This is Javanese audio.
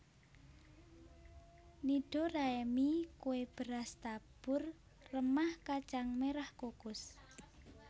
Nidoraemi kue beras tabur remah kacang merah kukus